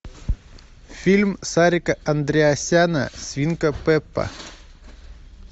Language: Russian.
фильм сарика андреасяна свинка пеппа